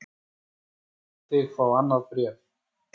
Lét hann þig fá annað bréf?